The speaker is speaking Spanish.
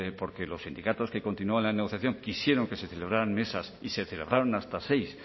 porque los sindicatos que continuaron en la negociación quisieron que se celebraran mesas y se celebraron hasta seis